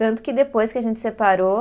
Tanto que depois que a gente separou